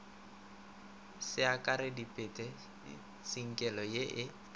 se akareditpe tsinkelo ye e